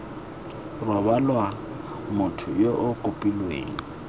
rebolwa motho yo o kopileng